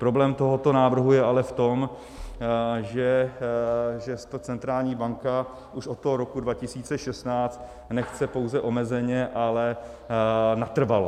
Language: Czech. Problém tohoto návrhu je ale v tom, že ta centrální banka už od toho roku 2016 nechce pouze omezeně, ale natrvalo.